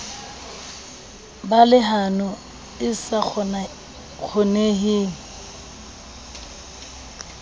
ba lehano e sa kgoneheng